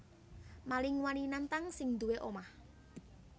Maling wani nantang sing duwé omah